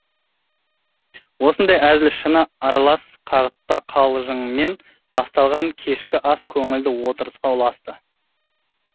осындай әзіл шыны аралас қағытпа қалжыңмен басталған кешкі ас көңілді отырысқа ұласты